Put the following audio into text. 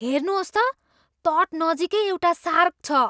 हेर्नुहोस् त ! तट नजिकै एउटा सार्क छ!